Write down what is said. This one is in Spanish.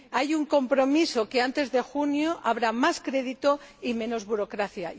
Hay un compromiso para que antes de junio haya más crédito y menos burocracia.